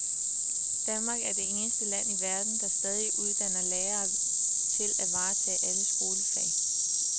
Danmark er det eneste land i verden, der stadig uddanner lærere til at varetage alle skolefag.